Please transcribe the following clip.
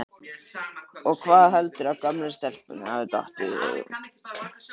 Og hvað heldurðu að gömlu stelpunni hafi dottið í hug?